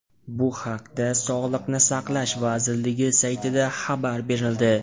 Bu haqda sog‘liqni saqlash vazirligi saytida xabar berildi .